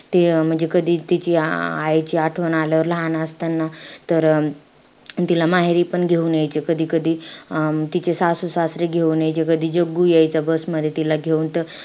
ते म्हणजे कधी तिची आ~ आईची आठवण आल्यावर लहान असताना, तर तिला माहेरीपण घेऊन यायचे कधी-कधी. अं तिचे सासू-सासरे घेऊन यायचे, कधी जग्गू यायचा bus मध्ये तिला घेऊन.